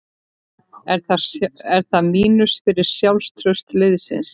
Er það mínus fyrir sjálfstraust liðsins?